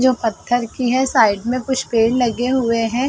जो पत्थर की है। साइड में कुछ पेड़ लगे हुए हैं।